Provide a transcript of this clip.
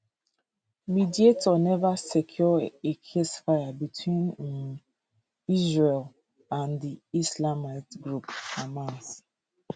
mediators neva secure a ceasefire between um israel and di islamist group hamas